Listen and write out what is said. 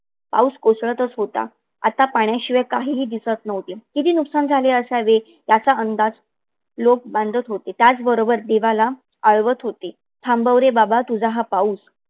पाऊस कोसळतच होता. आता पाण्याशिवाय काहीही दिसत नव्हते. किती नुकसान झाले असावे याचा अंदाज लोक बांधत होते. त्याच बरोबर देवाला आळवत होते. थांबव रे बाबा तुझा हा पाऊस!